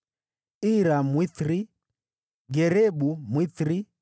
Ira Mwithiri, Garebu Mwithiri,